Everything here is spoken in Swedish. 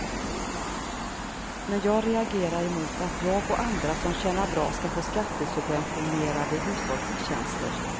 Men jag reagerar mot att jag och andra som tjänar bra ska få skattesubventionerade hushållstjänster.